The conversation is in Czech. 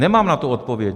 Nemám na to odpověď.